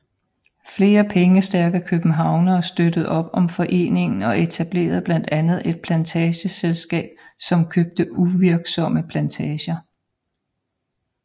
Flere pengestærke københavnere støttede op om foreningen og etablerede blandt andet et plantageselskab som købte uvirksomme plantager